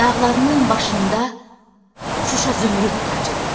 Dağlarının başında Şuşa zümrüd tacıdır.